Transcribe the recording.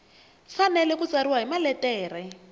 fanele ku tsariwa hi maletere